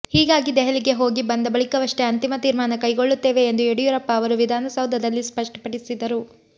ಹೀಗಾಗಿ ದೆಹಲಿಗೆ ಹೋಗಿ ಬಂದ ಬಳಿಕವಷ್ಟೇ ಅಂತಿಮ ತೀರ್ಮಾನ ಕೈಗೊಳ್ಳುತ್ತೇವೆ ಎಂದು ಯಡಿಯೂರಪ್ಪ ಅವರು ವಿಧಾನಸೌಧದಲ್ಲಿ ಸ್ಪಷ್ಟಪಡಿಸಿದರು